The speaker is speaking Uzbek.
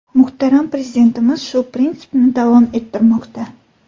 Muhtaram Prezidentimiz shu prinsipni davom ettirmoqda.